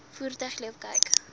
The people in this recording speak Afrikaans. voertuig loop kyk